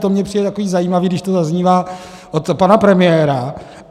To mně přijde takový zajímavý, když to zaznívá od pana premiéra.